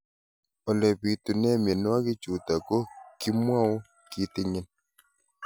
Ole pitune mionwek chutok ko kimwau kitig'�n